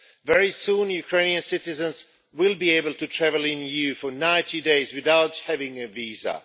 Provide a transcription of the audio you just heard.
Very soon, Ukrainian citizens will be able to travel in the EU for 90 days without having a visa.